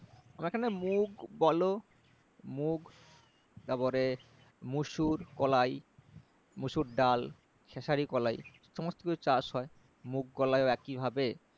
আমাদের এখানে মুগ বলো মুগ তারপরে মসুর কলাই মসুর ডাল খেঁসারি কলাই সমস্ত কিছুর চাষ হয় মুগ কলাইও একই ভাবে